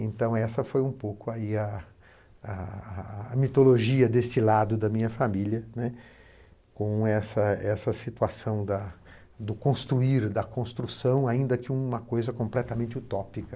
Então, essa foi um pouco aí a a... mitologia desse lado da minha família, né, com essa essa situação da do construir, da construção, ainda que uma coisa completamente utópica.